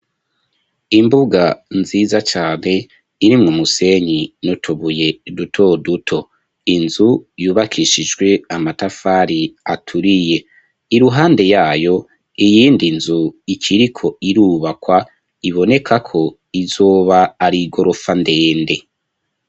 Imbuga nziza cane, iri mu musenyi notobuye duto duto, inzu yubakishijwe amatafari aturiye ,iruhande yayo iyindi nzu ikiriko irubakwa, iboneka ko izoba ari igorofa ndende.